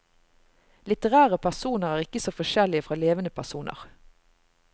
Litterære personer er ikke så forskjellige fra levende personer.